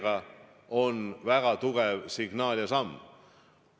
See oli väga tugev signaal ja samm.